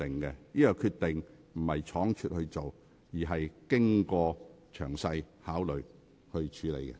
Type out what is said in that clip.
我的決定並非倉卒作出，而是經過深思熟慮。